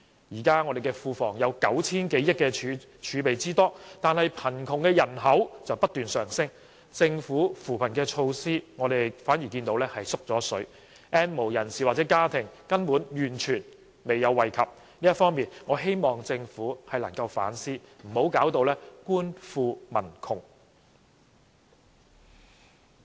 現時我們的庫房有 9,000 多億元儲備，但貧窮人口卻不斷上升，而政府的扶貧措施反而減少了 ，"N 無人士"或家庭根本完全沒有受惠，我希望政府能夠就此反思，不要弄至官富民窮。